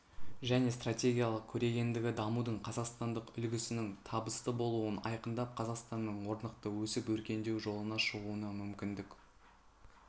және стратегиялық көрегендігі дамудың қазақстандық үлгісінің табысты болуын айқындап қазақстанның орнықты өсіп-өркендеу жолына шығуына мүмкіндік